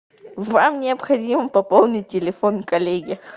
вам необходимо пополнить телефон коллеги